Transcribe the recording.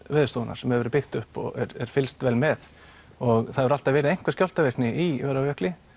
Veðurstofunnar sem hefur verið byggt upp og er fylgst vel með það hefur alltaf verið einhver skjálftavirkni í Öræfajökli